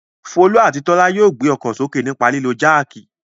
Folú àti Tọ́lá yóò gbé ọkọ̀ sókè nípa lílo jáákì.